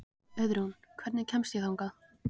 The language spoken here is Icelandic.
Auðrún, hvernig kemst ég þangað?